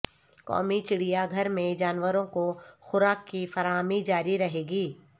قومی چڑیا گھر میں جانوروں کو خوراک کی فراہمی جاری رہے گی